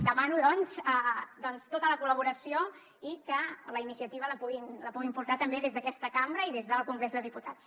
demano doncs tota la col·laboració i que la iniciativa la puguin portar també des d’aquesta cambra i des del congrés de diputats